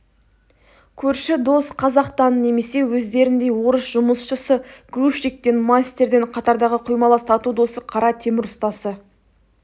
көрші дос қазақтан немесе өздеріндей орыс жұмысшысы грузчиктен мастерден қатардағы құймалас тату досы қара темір ұстасы